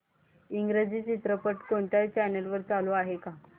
इंग्रजी चित्रपट कोणत्या चॅनल वर चालू आहे का